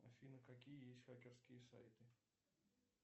афина какие есть хакерские сайты